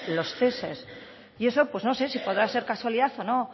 los ceses y eso pues no sé si podrá ser casualidad o no